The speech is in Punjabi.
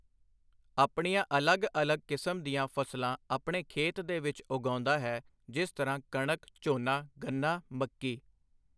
ਆਪਣੀਆਂ ਅਲੱਗ ਅਲੱਗ ਕਿਸਮ ਦੀਆਂ ਫ਼ਸਲਾਂ ਆਪਣੇ ਖੇਤ ਦੇ ਵਿੱਚ ਉਗਾਉਂਦਾ ਹੈ ਜਿਸ ਤਰ੍ਹਾਂ ਕਣਕ ਝੋਨਾ ਗੰਨਾ ਮੱਕੀ।